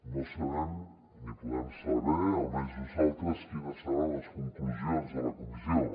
no sabem ni podem saber almenys nosaltres quines seran les conclusions de la comissió